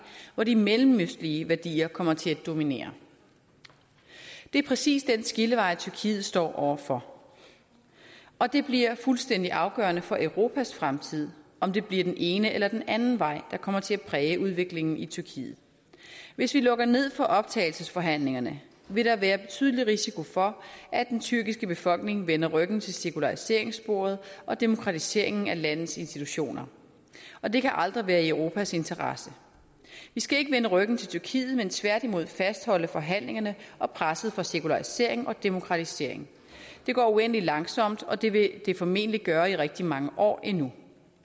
hvor de mellemøstlige værdier kommer til at dominere det er præcis den skillevej tyrkiet står overfor og det bliver fuldstændig afgørende for europas fremtid om det bliver den ene eller den anden vej der kommer til at præge udviklingen i tyrkiet hvis vi lukker ned for optagelsesforhandlingerne vil der være betydelig risiko for at den tyrkiske befolkning vender ryggen til sekulariseringssporet og demokratiseringen af landets institutioner og det kan aldrig være i europas interesse vi skal ikke vende ryggen til tyrkiet men tværtimod fastholde forhandlingerne og presset for sekularisering og demokratisering det går uendelig langsomt og det vil det formentlig gøre i rigtig mange år endnu